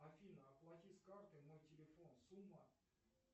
афина оплати с карты мой телефон сумма